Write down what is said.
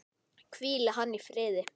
Hvíli hann í friði!